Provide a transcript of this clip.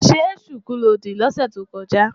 Ṣé ṣùkú lo dì lọ́sẹ̀ tó kọjá?